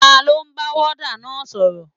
Taló ń bá wọ́ọ́dà náà sọ̀rọ̀?